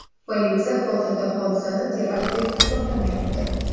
Politsiya hozircha hodisani terakt deb hisoblamayapti.